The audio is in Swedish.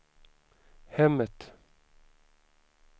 hemmet